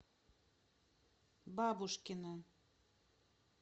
бабушкина